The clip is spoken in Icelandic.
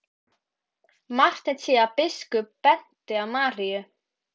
Marteinn sá að biskup benti á Maríu.